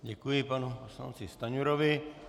Děkuji panu poslanci Stanjurovi.